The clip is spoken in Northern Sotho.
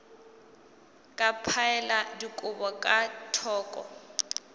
ka phaela dikobo ka thoko